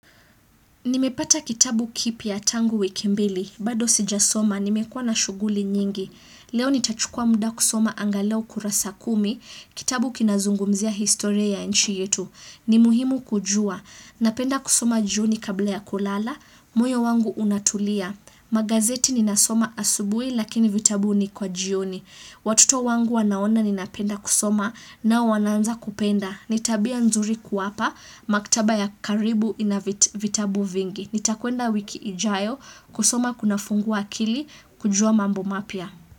Nimepata kitabu kipya tangu wiki mbili. Bado sijasoma, nimekuwa na shughuli nyingi. Leo nitachukua muda kusoma angalau kurasa kumi. Kitabu kinazungumzia historia ya nchi yetu. Ni muhimu kujua. Napenda kusoma jioni kabla ya kulala. Moyo wangu unatulia. Magazeti ninasoma asubuhi lakini vitabu ni kwa jioni. Watoto wangu wanaona ninapenda kusoma nao wanaanza kupenda. Ni tabia nzuri kuwapa, maktaba ya karibu ina vitabu vingi. Nitakwenda wiki ijayo, kusoma kunafungua akili, kujua mambo mapya.